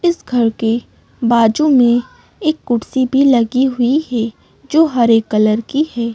इस घर के बाजू में एक कुर्सी भी लगी हुई है जो हरे कलर की है।